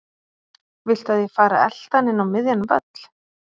Viltu að ég fari að elta hann inn á miðjan völl?